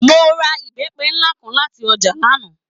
Mo ra ìbẹ́pẹ nlá kan láti ọjà lana.